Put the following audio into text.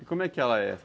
E como é que ela é?